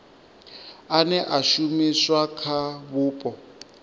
ane a shumiswa kha vhupo